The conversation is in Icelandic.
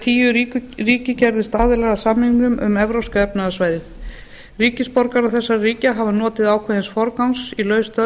tíu ríki gerðust aðilar að samningnum um evrópska efnahagssvæðið ríkisborgarar þessara ríkja hafa notið ákveðins forgangs í laus störf